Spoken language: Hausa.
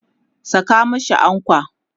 Saka mashi ankwa!